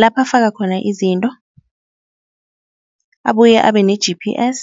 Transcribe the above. lapha afaka khona izinto abuye abe ne-G_P_S.